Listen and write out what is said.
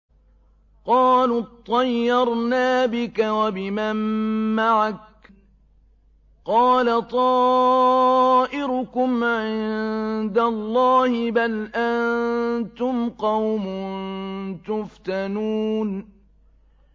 قَالُوا اطَّيَّرْنَا بِكَ وَبِمَن مَّعَكَ ۚ قَالَ طَائِرُكُمْ عِندَ اللَّهِ ۖ بَلْ أَنتُمْ قَوْمٌ تُفْتَنُونَ